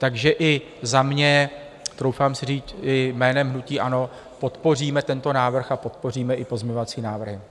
Takže i za mě, troufám si říct i jménem hnutí ANO, podpoříme tento návrh a podpoříme i pozměňovací návrhy.